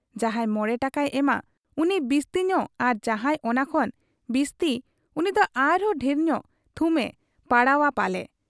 ᱡᱟᱦᱟᱸᱭ ᱢᱚᱬᱮ ᱴᱟᱠᱟᱭ ᱮᱢᱟ ᱩᱱᱤ ᱵᱤᱥᱛᱤ ᱧᱚᱜ ᱟᱨ ᱡᱟᱦᱟᱸᱭ ᱚᱱᱟ ᱠᱷᱚᱱ ᱵᱤᱥᱛᱤ ᱩᱱᱤᱫᱚ ᱟᱨᱦᱚᱸ ᱰᱷᱮᱨ ᱧᱚᱜ ᱛᱷᱩᱢ ᱮ ᱯᱟᱲᱟᱣᱜ ᱟ ᱯᱟᱞᱮ ᱾